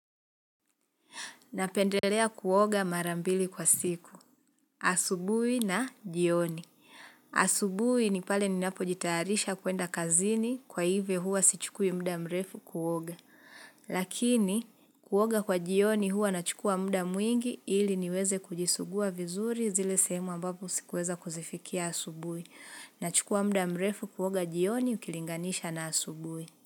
Napendelea kuoga marambili kwa siku. Asubuhi na jioni. Asubuhi ni pale ninapo jitayarisha kuenda kazini kwa hivyo hua sichukui muda mrefu kuoga. Lakini kuoga kwa jioni hua nachukua muda mwingi ili niweze kujisugua vizuri zile sehemu ambapo sikuweza kuzifikia asubuhi. Nachukua muda mrefu kuoga jioni ukilinganisha na asubui.